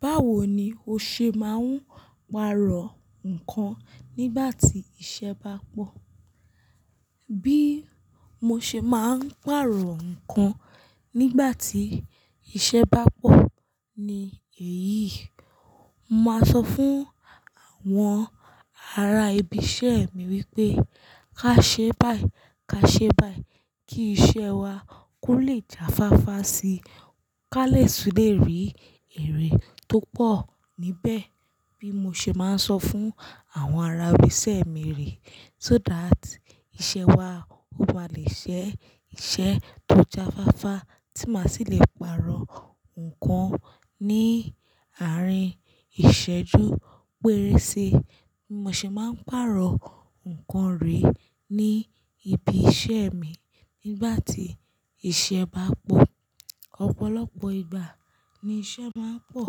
Báwo ni o ṣe máa ń pàrọ̀ nǹkan nígbà tí iṣẹ́ bá pọ̀? Bí mo ṣe máa ń pàrọ̀ nǹkan nígbà tí iṣẹ́ bá pọ̀ ni èyí. Mo máa sọ fún àwọn ará ibi iṣẹ́ mi wípé ká ṣẹ́ báyìí ká ṣẹ́ báyìí kí iṣẹ́ wá kó le jáfáfá síi. Kálẹ̀ ṣù le rí èrè tó pọ̀ níbẹ̀ bí mo ṣe máa ń sọ fún àwọn ara ibi iṣẹ́ mi rí. So that iṣẹ́ wá ó máa le ṣẹ́ iṣẹ́ tó jáfáfá tí má sì le pàrọ̀ nǹkan ní àárín ìṣẹ́jú pérése. Bí mo ṣe máa ń pàrọ̀ nǹkan rí ní ibi iṣẹ́ mi nígbà tí iṣẹ́ bá pọ̀. Ọ̀pọ̀lọpọ̀ ìgbà ni iṣẹ́ máa ń pọ̀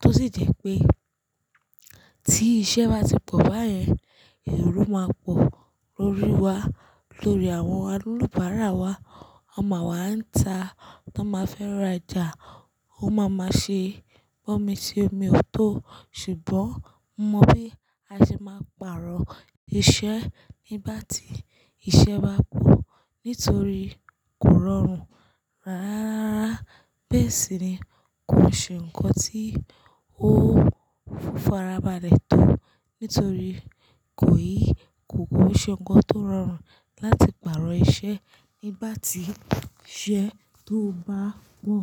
tó sì jẹ́ pé tí iṣẹ́ bá ti pọ̀ báyẹn, èrò máa pọ̀ lórí wa, lórí àwọn alùpàárà wa. Ọmọ àwa ń ta táa máa fẹ́ rajà ó máa ma ṣe bọ́mi ṣe omi ò tó. Ṣùgbọ́n mo mọ bí a ṣe máa pàrọ̀ iṣẹ́ nígbà tí iṣẹ́ bá pọ̀ nítorí kò rọrùn rárá. Bẹ́ẹ̀ sì ni kò ṣe nǹkan tí ó fúnra wọn balẹ̀ tó nítorí kò yí, kò kò ṣe nǹkan tó rọrùn láti pàrọ̀ iṣẹ́ nígbà tí iṣẹ́ tó bá pọ̀.